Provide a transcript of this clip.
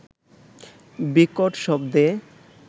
বিকট শব্দে